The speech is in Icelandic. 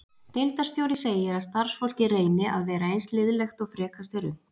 Deildarstjóri segir að starfsfólkið reyni að vera eins liðlegt og frekast er unnt.